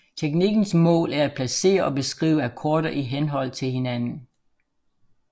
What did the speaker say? Teknikkens mål er at placere og beskrive akkorder i henhold til hinanden